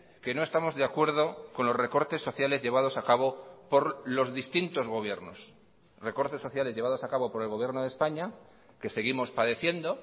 que no estamos de acuerdo con los recortes sociales llevados a cabo por los distintos gobiernos recortes sociales llevados a cabo por el gobierno de españa que seguimos padeciendo